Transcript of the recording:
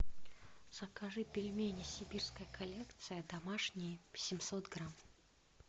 закажи пельмени сибирская коллекция домашние семьсот грамм